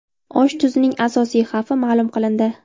Osh tuzning asosiy xavfi ma’lum qilindi.